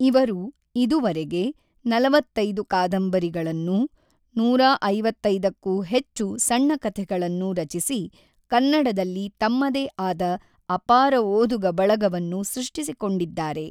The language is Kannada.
ಇವರು ಇದುವರೆಗೆ ನಲವತ್ತೈದು ಕಾದಂಬರಿಗಳನ್ನೂ ನೂರಐವತ್ತೈದಕ್ಕೂ ಹೆಚ್ಚು ಸಣ್ಣ ಕಥೆಗಳನ್ನೂ ರಚಿಸಿ ಕನ್ನಡದಲ್ಲಿ ತಮ್ಮದೇ ಆದ ಅಪಾರ ಓದುಗ ಬಳಗವನ್ನು ಸೃಷ್ಟಿಸಿಕೊಂಡಿದ್ದಾರೆ.